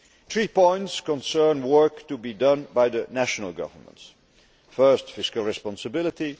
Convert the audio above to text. Three points concern work to be done by the national governments first, fiscal responsibility